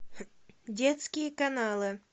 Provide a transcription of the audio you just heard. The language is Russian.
детские каналы